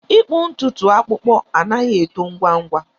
ịkpụ ntutu akpụkpọ anaghị eto ngwa ngwa.